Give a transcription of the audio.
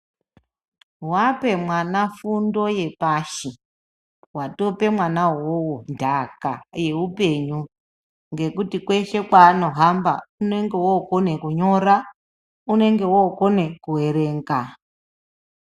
Wape mwana fundo yepashi, watope mwana uwowo nhaka yeupenyu, ngekuti kweshe kweanohamba unenge wokone kunyora, unonge wookone kuerenga.